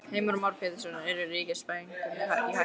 Heimir Már Pétursson: Eru ríkisbankarnir í hættu?